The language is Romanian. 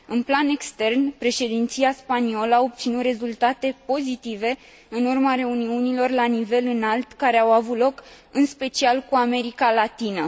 În plan extern, președinția spaniolă a obținut rezultate pozitive în urma reuniunilor la nivel înalt care au avut loc, în special, cu America Latină.